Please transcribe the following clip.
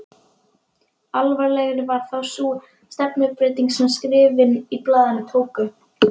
Alvarlegri var þó sú stefnubreyting sem skrifin í blaðinu tóku.